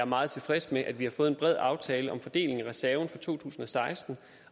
meget tilfreds med at vi har fået en bred aftale om fordelingen af reserven for to tusind og seksten